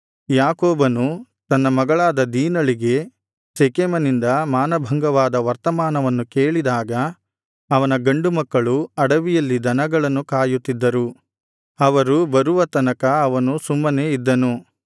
ಯಾಕೋಬನು ತನ್ನ ಮಗಳಾದ ದೀನಳಿಗೆ ಶೆಕೆಮನಿಂದ ಮಾನಭಂಗವಾದ ವರ್ತಮಾನವನ್ನು ಕೇಳಿದಾಗ ಅವನ ಗಂಡುಮಕ್ಕಳು ಅಡವಿಯಲ್ಲಿ ದನಗಳನ್ನು ಕಾಯುತ್ತಿದ್ದರು ಅವರು ಬರುವ ತನಕ ಅವನು ಸುಮ್ಮನೇ ಇದ್ದನು